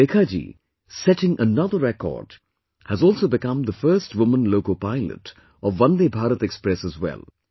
Surekha ji, setting another record, has also become the first woman loco pilot of Vande Bharat Express as well